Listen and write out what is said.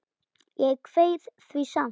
Ég kveið því samt.